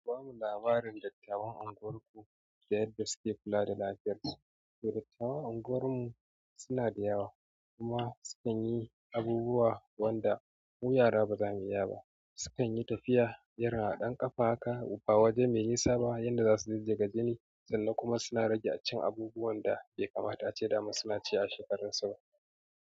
Ku bamu labarin dattawan unguwar ku da yadda suke kula da lafiyar su? Dattawan unguwar mu suna da yawa kuma sukan yi abubuwa wanda ko yara ba za mu iya ba sukan yi tafiya, irin a ɗan ƙafa haka, ba waje mai nisa ba yadda za su duddage jini sannan kuma suna rage cin abubuwan da bai kamata ace daman suna ci a shekarun sama.